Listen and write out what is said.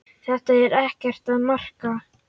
Þetta er ekkert að marka.